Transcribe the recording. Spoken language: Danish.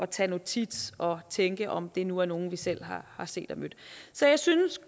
tage notits og tænke om det nu er nogle vi selv har set og mødt så jeg synes